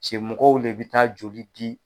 Cɛ mɔgɔ len bɛ taa joli di.